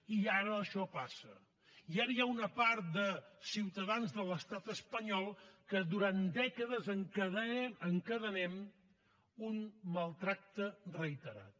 i ara això passa i ara hi ha una part de ciutadans de l’estat espanyol que durant dècades encadenem un maltractament reiterat